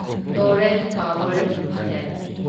Torrent Power limited